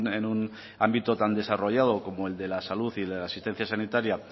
en un ámbito tan desarrollado como el de la salud y la asistencia sanitaria